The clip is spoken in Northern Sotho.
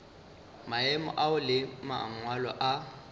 maemo ao le mangwalo a